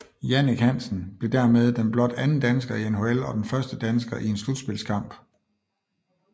Jannik Hansen blev dermed den blot anden dansker i NHL og den første dansker i en slutspilskamp